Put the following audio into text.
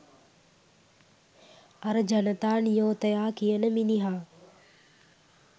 අර ජනතා නියෝතයා කියන මිනිහා